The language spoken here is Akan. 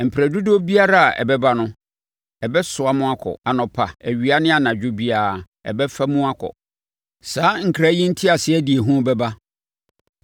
Mperɛ dodoɔ biara a ɛbɛba no, ɛbɛsoa mo akɔ; anɔpa, awia ne anadwo biara, ɛbɛfa mu akɔ.” Saa nkra yi nteaseɛ de ehu bɛba.